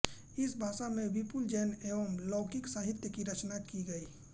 इस भाषा में विपुल जैन एवं लौकिक साहित्य की रचना की गई